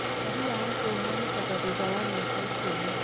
ũtari wa andũ ũhanĩkaga thutha wa mĩaka ikũmi.